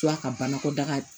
ka banakɔtaga